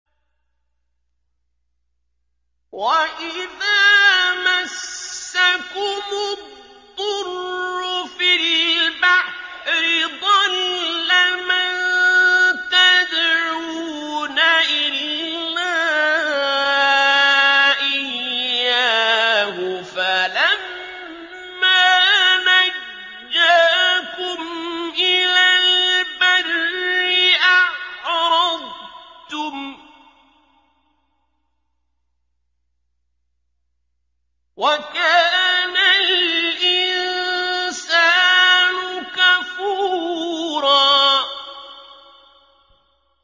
وَإِذَا مَسَّكُمُ الضُّرُّ فِي الْبَحْرِ ضَلَّ مَن تَدْعُونَ إِلَّا إِيَّاهُ ۖ فَلَمَّا نَجَّاكُمْ إِلَى الْبَرِّ أَعْرَضْتُمْ ۚ وَكَانَ الْإِنسَانُ كَفُورًا